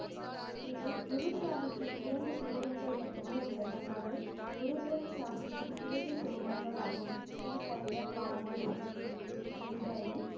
இதில் குரு சாஹிப்பின் இரண்டு ஸ்லோகங்கள் மட்டுமே உள்ளன அவை குரு கிரந்த சாஹிப்பின் இறுதி சோகங்களாகும் இது தவிர பானி, ருத்தி, தித்தி, தின்றைனி